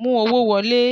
mú owó wọlé".